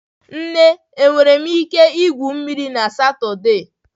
Nne, enwere m ike igwu mmiri na Satọde?